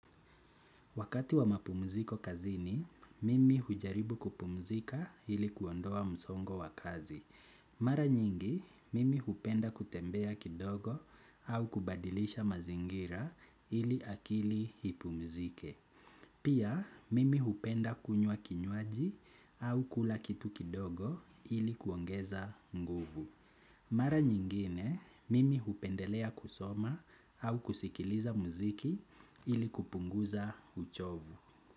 Wakati wa mapumziko kazini, mimi hujaribu kupumzika ili kuondoa msongo wa kazi. Mara nyingi, mimi hupenda kutembea kidogo au kubadilisha mazingira ili akili ipumzike. Pia, mimi hupenda kunywa kinywaji au kula kitu kidogo ili kuongeza nguvu. Mara nyingine mimi hupendelea kusoma au kusikiliza muziki ili kupunguza uchovu.